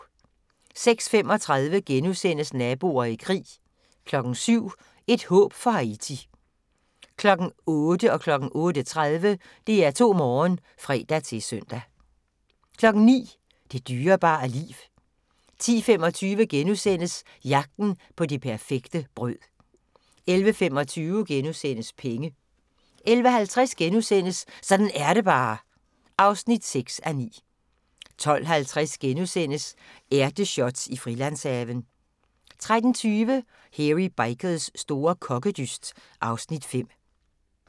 06:35: Naboer i krig * 07:00: Et håb for Haiti 08:00: DR2 Morgen (fre-søn) 08:30: DR2 Morgen 09:00: Det dyrebare liv 10:25: Jagten på det perfekte brød * 11:25: Penge * 11:50: Sådan er det bare (6:9)* 12:50: Ærteshots i Frilandshaven * 13:20: Hairy Bikers store kokkedyst (Afs. 5)